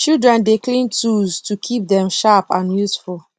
children dey clean tools to keep dem sharp and useful